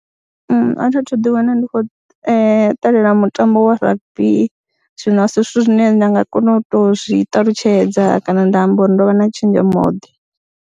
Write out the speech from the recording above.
Nṋe a thi a thu ḓiwana ndi khou ṱalela mutambo wa rugby zwino a si zwithu zwine nda nga kona u to zwi ṱalutshedza kana nda amba uri ndo vha na tshenzhemoḓe.